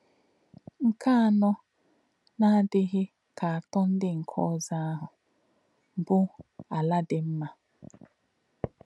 Nkè̄ ànọ̄, n’àdị̄ghí̄ kā̄ atọ̄ ndí̄ nké̄ ọ̀zọ́ āhụ̄, bụ́ “àlà̄ dì̄ mmà̄.”